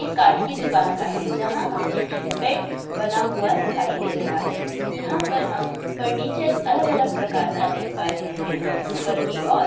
काठ की दुकान का है जहां हमें बेड बना हुआ दिखाई दे रहा है| यहां पर हम फर्नीचर अलग-अलग प्रकार का देख पा रहे हैं और ऊपर की ओर--